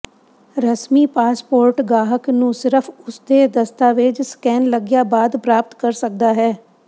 ਰਸਮੀ ਪਾਸਪੋਰਟ ਗਾਹਕ ਨੂੰ ਸਿਰਫ ਉਸ ਦੇ ਦਸਤਾਵੇਜ਼ ਸਕੈਨ ਲੱਗਿਆ ਬਾਅਦ ਪ੍ਰਾਪਤ ਕਰ ਸਕਦਾ ਹੈ